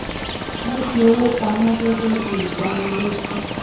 wọ́n fi owó pa mọ́ gẹ́gẹ́ bí ìdánilójú